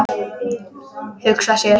Hugsa sér!